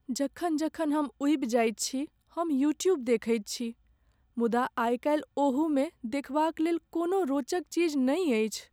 जखन जखन हम ऊबि जाइत छी, हम यूट्यूब देखैत छी। मुदा आइ काल्हि ओहूमे देखबाक लेल कोनो रोचक चीज नहि अछि।